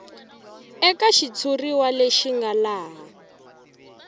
eka xitshuriwa lexi nga laha